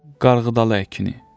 Qarğıdalı əkini.